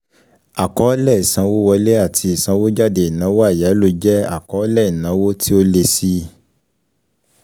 Àkọọ́lẹ̀ ìsanwówọlé ati ìsanwójáde Ìnáwó àyáló jẹ àkọọ́lẹ̀ ìnáwó tí ó lé síi